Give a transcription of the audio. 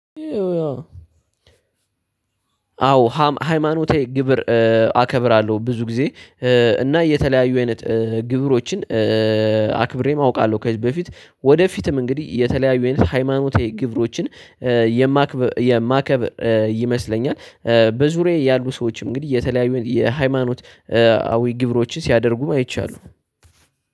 አዎ ሃይማኖቴ ግብር አከብራለሁ ብዙ ጊዜ እና የተለያዩ አይነት ግብሮችን አክብሬም አውቃለሁ። ከዚህ በፊት ወደፊትም እንግዲህ የተለያዩ አይነት ሃይማኖታዊ ግብሮችን የማከብ ይመስለኛል። በዙሪያዬ ያሉ ሰዎች እንግዲህ የተለያዩ የሃይማኖት አዊ ግብሮችን ሲያደርጉም አይቻለሁ።